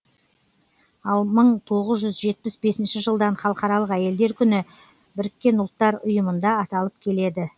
ал мың тоғыз жүз жетпіс бесінші жылдан халықаралық әйелдер күні біріккен ұлттар ұйымында аталып келеді